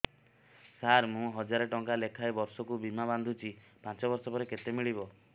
ସାର ମୁଁ ହଜାରେ ଟଂକା ଲେଖାଏଁ ବର୍ଷକୁ ବୀମା ବାଂଧୁଛି ପାଞ୍ଚ ବର୍ଷ ପରେ କେତେ ମିଳିବ